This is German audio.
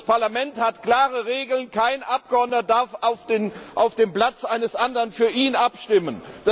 Das Parlament hat klare Regeln Kein Abgeordneter darf auf dem Platz eines anderen für ihn abstimmen.